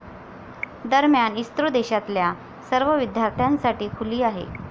दरम्यान, इस्रो देशातल्या सर्व विद्यार्थ्यांसाठी खुली आहे.